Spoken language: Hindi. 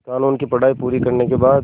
क़ानून की पढा़ई पूरी करने के बाद